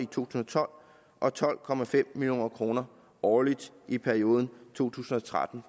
tusind og tolv og tolv million kroner årligt i perioden to tusind og tretten